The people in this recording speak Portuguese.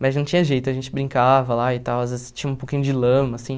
Mas não tinha jeito, a gente brincava lá e tal, às vezes tinha um pouquinho de lama, assim.